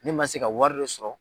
Ne man se ka wari de sɔrɔ.